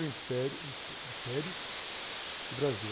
O Império, Império e Brasil...